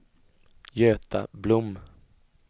Göta Blom